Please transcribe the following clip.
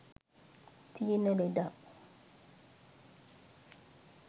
තියෙන ලෙඩක්.